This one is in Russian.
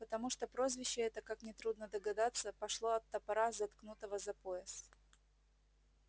потому что прозвище это как нетрудно догадаться пошло от топора заткнутого за пояс